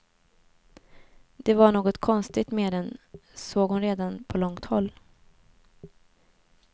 Det var något konstigt med den, såg hon redan på långt håll.